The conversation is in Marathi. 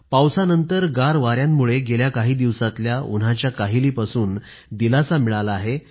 पावसांनंतर गार वाऱ्यांमुळे गेल्या काही दिवसातल्या उन्हाच्या काहिलीपासून दिलासा मिळाला आहे